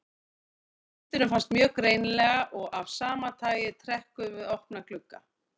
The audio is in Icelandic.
Vindurinn finnst mjög greinilega og af sama tagi er trekkur við opna glugga.